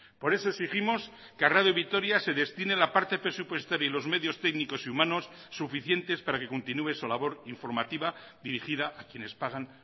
por eso exigimos que a radio vitoria se destine la parte presupuestaria y los medios técnicos y humanos suficientes para que continúe su labor informativa dirigida a quienes pagan